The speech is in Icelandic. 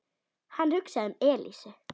Hann hugsaði um Elísu.